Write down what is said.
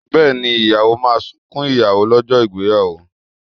Bẹ́ẹ̀ni, ìyàwó máa sunkún ìyàwó lọ́jọ́ ìgbéyàwó?